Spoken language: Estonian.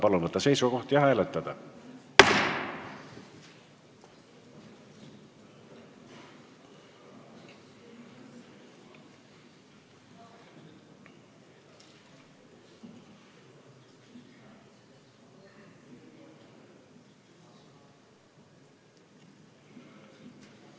Palun võtta seisukoht ja hääletada!